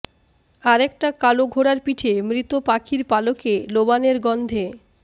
আর একটা কালো ঘোড়ার পিঠে মৃত পাখির পালকে লোবানের গন্ধে